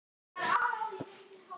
Geturðu lýst því fyrir okkur?